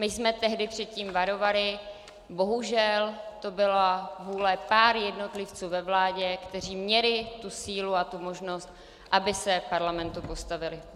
My jsme tehdy před tím varovali, bohužel to byla vůle pár jednotlivců ve vládě, kteří měli tu sílu a možnost, aby se Parlamentu postavili.